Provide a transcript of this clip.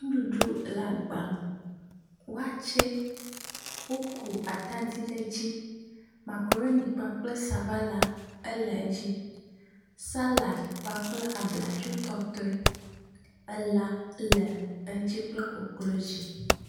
ŋuɖuɖu le agba me wɔtsɛ woku atadi ɖe dzi makroni kple sabala éle edzi salad kpakple abladzo tɔtoe éle edzi elã le edzi kple koklozi